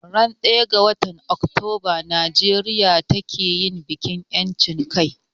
Ran daya ga watan Octoba Nijeria ke yin bikin yanchin kai